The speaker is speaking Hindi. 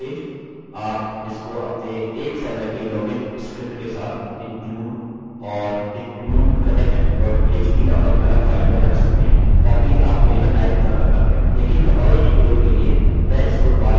आप इसको अपने एक समय के लॉगिन स्क्रिप्ट के साथ include and include connect php नामक अलग फाइल में रख सकते हैं ताकि आपको यह टाइप न करना पड़े